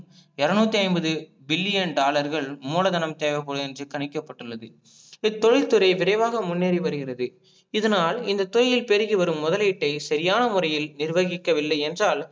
இறநூத்தி ஐம்பது billion dollar கல் மூலதனம் தேவைப்படும் என்று கணிக்கப்பட்டுள்ளது, இத்தொழில்துரை விரைவாக முன்னேறி வருகிறது இதனால் இந்த தொழிலில் பெருகி வரும் முதலீட்டை சரியான முறையில் நிறுவாகிக்கவில்லை என்றால்